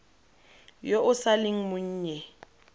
yo o sa leng monnye